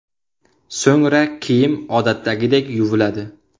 So‘ngra kiyim odatdagidek yuviladi.